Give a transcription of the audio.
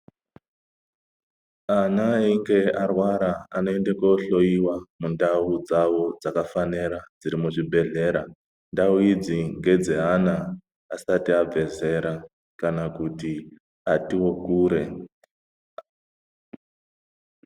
Ana einge arwara anoende koohloyiwa mundau dzawo dzakafanira dziri muzvibhedhlera ndau idzi ngedzeana asati abve zera kana kuti atiwo kure.